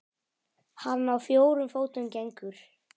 Hann á fjórum fótum gengur.